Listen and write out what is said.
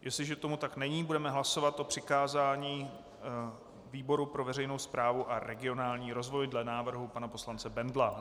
Jestli tomu tak není, budeme hlasovat o přikázání výboru pro veřejnou správu a regionální rozvoj dle návrhu pana poslance Bendla.